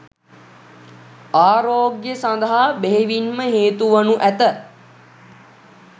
ආරෝග්‍ය සඳහා බෙහෙවින්ම හේතුවනු ඇත.